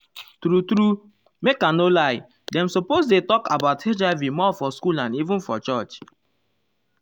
true truemake i no lie dem suppose dey talk about hiv more for school and even for church.